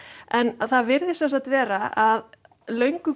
en það virðist vera að löngu